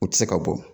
U tɛ se ka bɔ